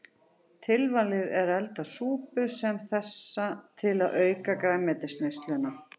Tilvalið er að elda súpu sem þessa til að auka grænmetisneysluna.